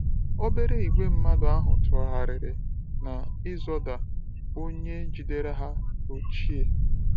Obere ìgwè mmadụ ahụ tụgharịrị n’ “ịzọda” onye jidere ha ochie.